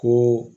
Ko